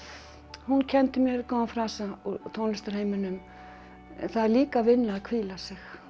hún kenndi mér góðan frasa úr tónlistarheiminum það er líka vinna að hvíla sig